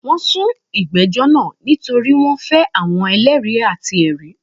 Wọ́n n sun ìgbẹ́jọ́ naa nítorí wọ́n fẹ́ àwọn eléèri àti èri